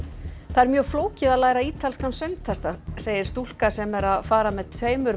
það er mjög flókið að læra ítalskan söngtexta segir stúlka sem er að fara með tveimur